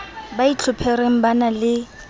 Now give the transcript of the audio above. ba itlhophereng ba na le